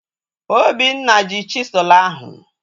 Obinna ji chisụl ahu